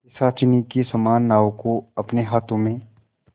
पिशाचिनी के समान नाव को अपने हाथों में